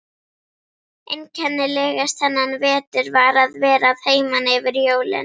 Einkennilegast þennan vetur var að vera að heiman yfir jólin.